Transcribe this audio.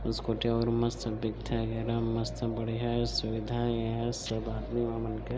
scooty और मस्त बिक थे ए दाहन मस्त बढ़िया ए सुविधा हे एहा सब आदमी मन--